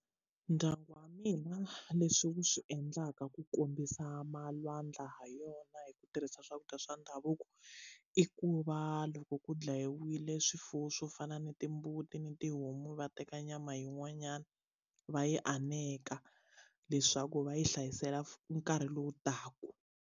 Ndyangu wa mina leswi wu swi endlaka ku kombisa malwandla ha yona hi ku tirhisa swakudya swa ndhavuko i ku va loko ku dlayiwile swifuwo swo fana na timbuti ni tihomu va teka nyama yin'wanyana va yi aneka leswaku va yi hlayisela nkarhi lowu taka.